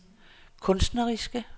kunstneriske